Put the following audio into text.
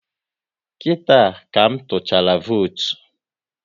Kita ka m tuchara votu